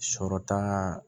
Sɔrɔ tan ka